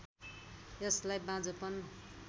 यसलाई बाँझोपन